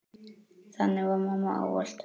Þannig var mamma ávallt.